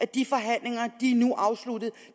de forhandlinger er nu afsluttet